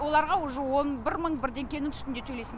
оларға уже он бір мың бірдеңкенің үстінде төлейсің